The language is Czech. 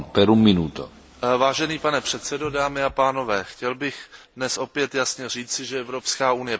Chtěl bych dnes opět jasně říci, že Evropská unie potřebuje řádný rozpočet pro příští rok.